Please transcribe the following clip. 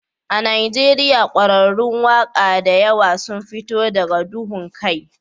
A Najeriya ƙwararrun waƙa da yawa sun fito daga duhun kai